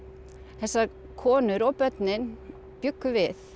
þessar konur og börnin bjuggu við